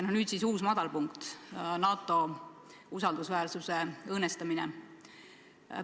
Ja nüüd siis uus madalpunkt – NATO usaldusväärsuse õõnestamine.